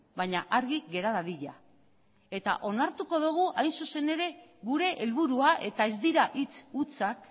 baina argi gera dadila eta onartuko dugu hain zuzen ere gure helburua eta ez dira hitz hutsak